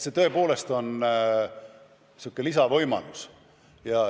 See tõepoolest on säärane lisavõimalus.